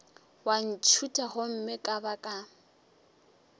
wa ntšhutha gomme ka baka